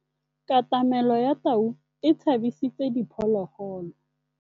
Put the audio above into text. Katamêlô ya tau e tshabisitse diphôlôgôlô.